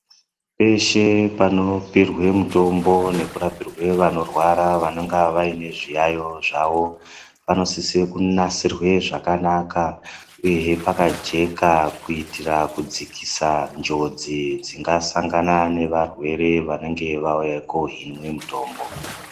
Peshe panopiwirwe mitombo nekurapirwa vanorwara vanonga vaine zviyayo zvawo, panosise kunasirwe zvakanaka ,uyehe pakajeka kuitira kudzikisa njodzi dzingasangana nearwere anenge auya kohinwe mitombo .